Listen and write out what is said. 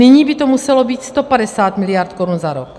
Nyní by to muselo být 150 mld. korun za rok.